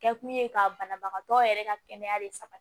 Kɛ kun ye ka banabagatɔ yɛrɛ ka kɛnɛya bi saba